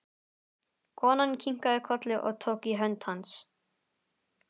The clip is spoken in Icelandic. Konan kinkaði kolli og tók í hönd hans.